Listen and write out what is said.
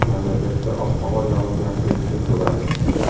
Mamlakatda ob-havo yog‘ingarchiliksiz bo‘ladi.